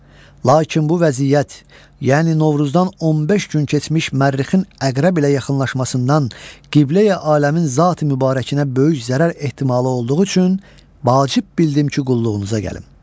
lakin bu vəziyyət, yəni Novruzdan 15 gün keçmiş Mərrixin Əqrəb ilə yaxınlaşmasından Qibləyi aləmin zati mübarəkinə böyük zərər ehtimalı olduğu üçün vacib bildim ki, qulluğunuza gəlim.